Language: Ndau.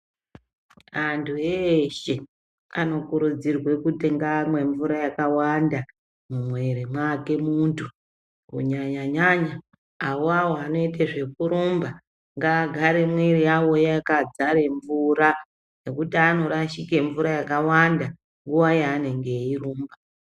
Antu eshe anokuridzirwe kuti ngamwe mvura yakawanda mumiri mwake muntu kunyanya nyanya awawo anoite zvekurumba kuti agare miviri mwawo makadzare mvura nekuti anorashike mvura yakawanda munguva yavanenge vai rumba.